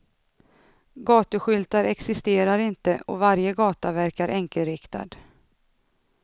Gatuskyltar existerar inte och varje gata verkar enkelriktad.